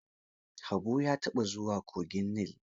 Habu ya taɓa zuwa kogin Nil?